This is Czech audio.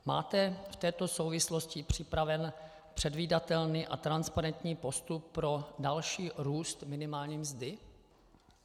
Máte v této souvislosti připravený předvídatelný a transparentní postup pro další růst minimální mzdy?